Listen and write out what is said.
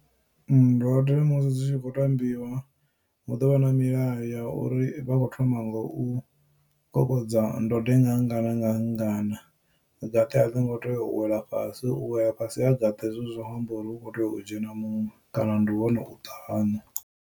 Ndode musi zwi tshi khou tambiwa hu ḓo vha na milayo ya uri vha kho thoma ngo u kokodza ndode nga ngana nga ngana gaṱe aḽi ngo tea u wela fhasi u wela fhasi ha gaṱe hezwi zwi amba uri hukho tea u dzhena muṅwe kana ndi hone uṱa haṋu.